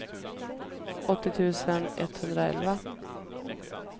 åttio tusen etthundraelva